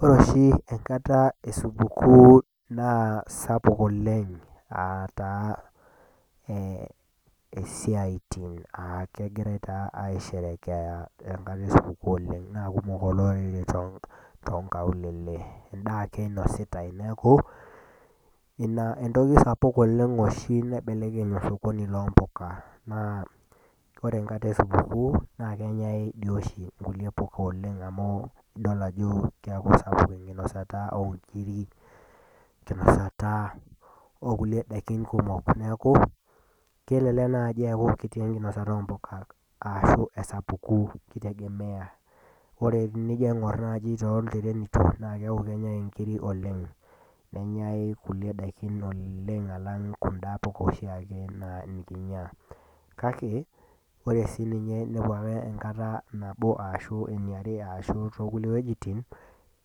Ore oshi enkata esupukuu naaa keisapukin oleng siatin etaa kegirae aisherekea enkata esupukuu oleng naaa kumok olorere tonkaulele endaa ake eonositae neeku ina entoki oshi taata naibelekeny osokoni loompuka naa ore enkata esupukuu naa kenyae doi oshin nkulie puka oleng amu idol ajo keeku sapuk enkinosata oonkiri, enkinosata oonkulie daiki kumok ,neeku kelelek naaji eku kiti enkinosata oompuka ashu esapuko ,kitegemea ,ore tenijo aingoru naaji toltirenito naa keeku kenyae nkiri oleng ,nenyae kulie daiki oleng alang Kuna puka oshiake puka nikinyia kake ore ake inepu ake siininye enkata nabo ashu eare ashu tookulie wejitin